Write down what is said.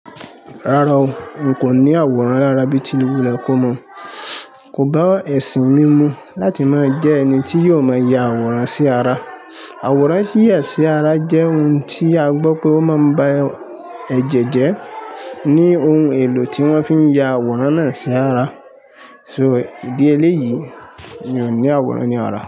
Rárá o, n kò ní àwòrán lára bí ti wulẹ̀ kómo Ko bá ẹ̀sìn mi mu láti máa jẹ́ ẹni tí yóò máa ya àwòrán sí ara. Àwòrán yíyà sí ara jẹ́ ohun tí a gbọ́ pé ó máa ń bá ẹ̀jẹ̀ jẹ́, ní ohun èlò tí wọ́n fi ń ya àwòrán náà sí ara. So, ìdí eléyìí, mi ò ní àwòrán ní ara.